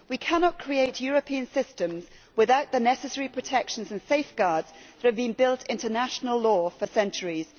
We cannot create European systems without the necessary protections and safeguards that have been built into national law for centuries.